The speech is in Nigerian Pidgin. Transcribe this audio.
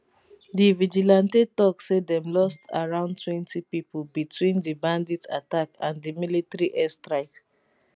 di vigilante tok say dem lost aroundtwentypipo between di bandit attack and di military airstrike